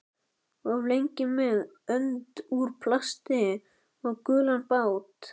Of lengi með önd úr plasti og gulan bát